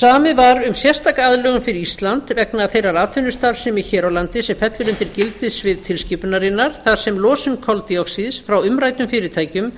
samið var um sérstaka aðlögun fyrir ísland vegna þeirrar atvinnustarfsemi hér á landi sem fellur undir gildissvið tilskipunarinnar þar sem losun koltvíoxíðs frá umræddum fyrirtækjum